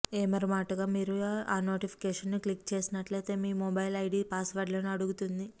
ఏమరపాటుగా మీరు ఆ నోటిఫికేషన్ను క్లిక్ చేసినట్లయితే మీ మెయిల్ ఐడీ పాస్వర్డ్లను అడుగుతుంది